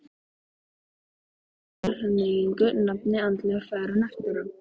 Gaf hann þessari tilhneigingu nafnið andleg fegrun eftir á.